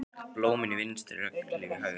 Blómin í vinstri, regnhlíf í hægri.